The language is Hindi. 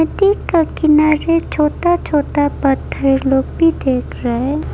नदी के किनारे छोटा छोटा पत्थर लोग भी देख रहा है।